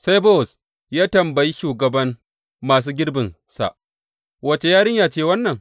Sai Bowaz ya tambayi shugaban masu girbinsa, Wace yarinya ce wannan?